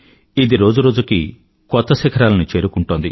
ఇది రోజురోజుకీ కొత్త శిఖరాలను చేరుకుంటోంది